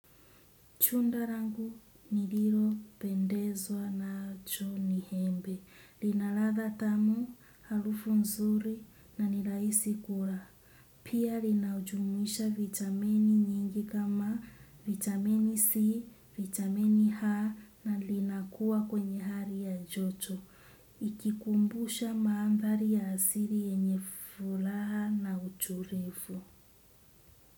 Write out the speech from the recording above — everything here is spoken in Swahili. Tunda langu nililopendezwa nacho ni embe. Lina ladha tamu, harufu nzuri na ni rahisi kula. Pia linaujumuisha vitamini nyingi kama vitamini C, vitamini H na linakuwa kwenye hali ya joto. Ikikumbusha maandhari ya asili yenye furaha na utulivu.